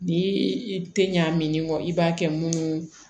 Ni i te ɲa min kɔ i b'a kɛ munnu